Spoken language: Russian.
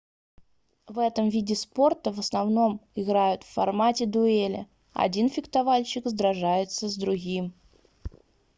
в этом виде спорта в основном играют в формате дуэли один фехтовальщик сражается с другим